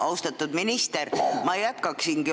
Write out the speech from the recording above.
Austatud minister!